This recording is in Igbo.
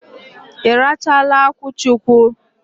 Ị rachaala akwụchukwu?